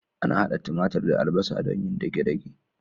Ana hada timatir da albasa don yin dage-dage.